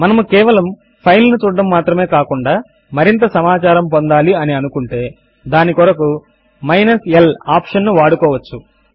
మనము కేవలము ఫైల్ ను చూడడము మాత్రమే కాకుండా మరింత సమాచారము పొందాలి అని అనుకుంటే దాని కొరకు మైనస్ l ఆప్షన్ ను వాడుకోవచ్చును